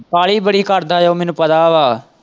ਕਾਹਲੀ ਬੜੀ ਕਰਦਾ ਉਹ ਮੈਨੂੰ ਪਤਾ ਉਹਦਾ।